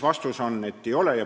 Vastus on, et ei ole.